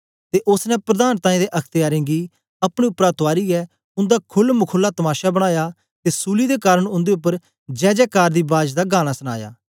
ते ओसने प्रधानतायें ते अख्तयारे गी अपने उपरा तुआरीयै उन्दा खुल मखुल्ला तमाशा बनाया ते सूली दे कारन उन्दे उपर जयजयकार दी बाज दा गाना सनाया